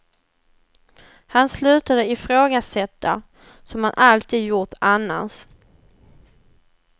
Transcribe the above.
Han slutade ifrågasätta, som han alltid gjort annars.